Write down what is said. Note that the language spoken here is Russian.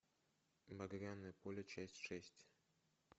багряное поле часть шесть